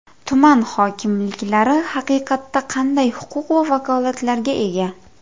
Tuman hokimliklari haqiqatda qanday huquq va vakolatlarga ega?